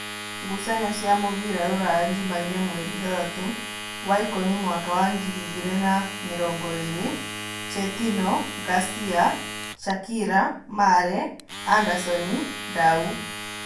Ngucanio cia mũbira Ruraya Jumaine mweri ithathatũ waikũmi mwaka wa ngiri igĩrĩ na namĩrongoĩrĩ: Chetino, Ngacia, Shakira, Mare, Andasoni, Ndau